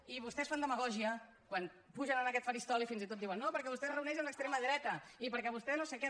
i vostès fan demagògia quan pugen a aquest faristol i fins i tot diuen no perquè vostè es reuneix amb l’extrema dreta i perquè vostè no sé què